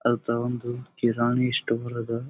ಅದ ಒಂದು ಕಿರಾಣಿ ಸ್ಟೋರ್ ಅದ .